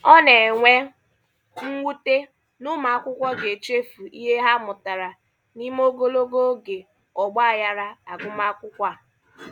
Ọ na-enwe mwute na ụmụakwụkwọ ga-echefu ihe ha mụtara n'ime ogologo oge ọgbaaghara agụmakwụkwọ a.